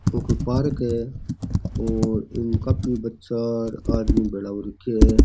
ओ कोई पार्क है और काफी बच्चा और आदमी भेळा हो रखा है।